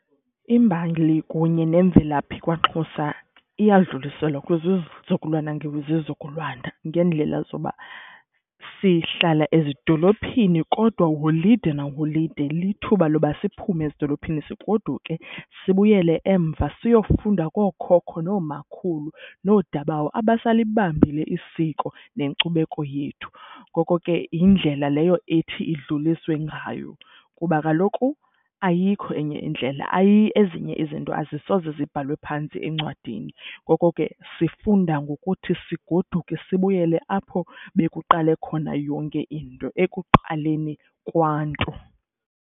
Imbali kunye nemvelaphi kwaXhosa iyadluliselwa kwizizukulwana ngezizukulwana ngeendlela zoba sihlala ezidolophini kodwa holide naholide lithuba loba siphume ezidolophini sigodukile sibuyele emva siyofunda kookhokho noomakhulu noodabawo abasalibambile isiko nenkcubeko yethu. Ngoko ke yindlela leyo ethi idlulisiwe ngayo kuba kaloku ayikho enye indlela. Ezinye izinto azisoze zibhalwe phantsi encwadini, ngoko ke sifunda ngokuthi sigoduke sibuyele apho bekuqale khona yonke into, ekuqaleni kwaNtu.